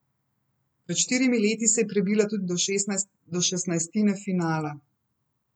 Pred štirimi leti se je prebila tudi do šestnajstine finala.